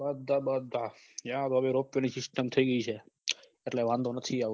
બધા બધા ત્યાં હવે ropeway ની સિસ્ટમ થઇ ગઈ છે એટલે વાંધો નથી આવતો